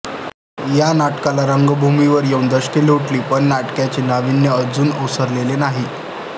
या नाटकाला रंगभूमीवर येऊन दशके लोटली पण नाटकाचे नावीन्य अजून ओसरलेले नाही